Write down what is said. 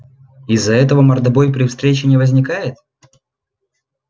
из за этого мордобой при встрече не возникает